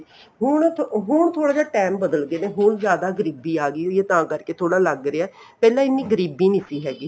ਹੁਣ ਹੁਣ ਥੋੜਾ ਜਾ time ਬ੍ਦਲਗੇ ਹੁਣ ਜ਼ਿਆਦਾ ਗਰੀਬੀ ਆਗੀ ਵੀ ਇਹ ਤਾਂ ਕਰਕੇ ਥੋੜਾ ਲੱਗ ਰਿਹਾ ਪਹਿਲਾਂ ਇੰਨੀ ਗਰੀਬੀ ਨਹੀਂ ਸੀ ਹੈਗੀ